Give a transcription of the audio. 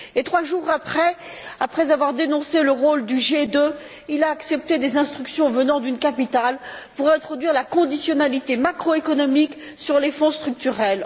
Et trois jours après, après avoir dénoncé le rôle du G20, il a accepté des instructions venant d'une capitale pour introduire la conditionnalité macro économique sur les Fonds structurels.